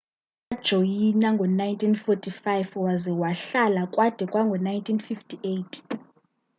wabajoyina ngo-1945 waza wahlala kwade kwango-1958